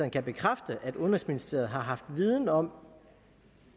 kan bekræfte at udenrigsministeriet har haft viden om